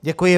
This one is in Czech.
Děkuji.